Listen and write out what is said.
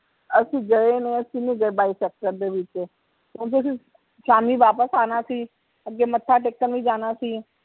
ਅਸੀਂ ਗਏ ਨੀ ਅਸੀਂ ਨੀ ਗਏ ਬਾਈ sector ਦੇ ਵਿੱਚ ਓਹਦੇ ਵਿਚ ਸ਼ਾਮੀ ਵਾਪਿਸ ਆਣਾ ਸੀ ਅੱਗੇ ਮੱਥਾ ਟੇਕਣ ਵੀ ਜਾਣਾ ਸੀ